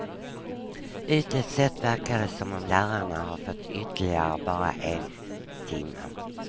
Ytligt sett verkar det som om lärarna har fått ytterligare bara en timme.